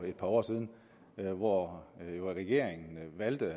et par år siden hvor regeringen valgte at